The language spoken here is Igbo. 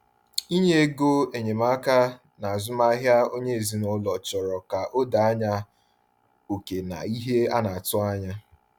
Inye ego enyemaka n’azụmahịa onye ezinụlọ chọrọ ka a doo anya oke na ihe a na-atụ anya.